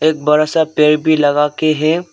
एक बड़ा सा पेड़ भी लगा के है।